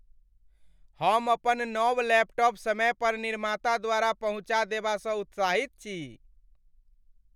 हम अपन नव लैपटॉप समय पर निर्माता द्वारा पहुँचा देबासँ उत्साहित छी।